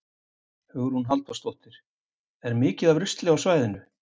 Hugrún Halldórsdóttir: Er mikið af rusli á svæðinu?